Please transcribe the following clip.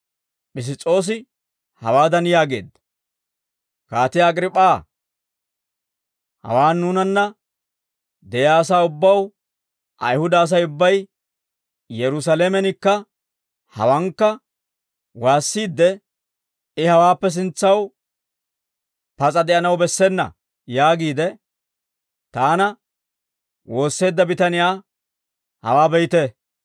Piss's'oosi hawaadan yaageedda; «Kaatiyaa Agriip'p'aa, hawaan nuunanna de'iyaa asaa ubbaw, Ayihuda Asay ubbay Yerusaalamenikka hawankka waassiidde, ‹I hawaappe sintsaw pas'a de'anaw bessena› yaagiide, taana woosseedda bitaniyaa hawaa be'iita.